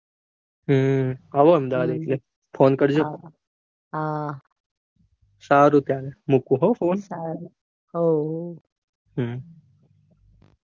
હમ આવો અમદાવાદ એટલે phone હમ હા સારું તાણ સારું મુકું phone હો.